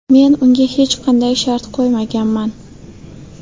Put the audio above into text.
Men unga hech qanday shart qo‘ymaganman.